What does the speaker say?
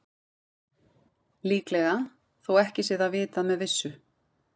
Líklega, þó ekki sé það vitað með vissu.